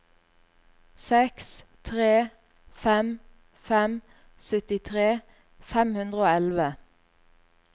seks tre fem fem syttitre fem hundre og elleve